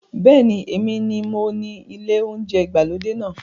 Bẹ́ẹ̀ni, Èmi mi mo ní ilé oúnjẹ ìgbàlódé náà